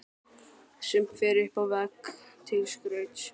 Sumt fer upp á vegg til skrauts.